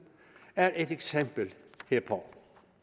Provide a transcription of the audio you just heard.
er et eksempel herpå